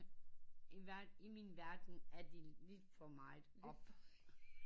I min verden er de lige for meget